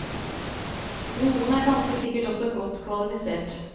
Noen er ganske sikkert også godt kvalifisert.